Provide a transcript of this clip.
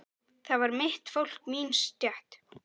Það var mitt fólk, mín stétt.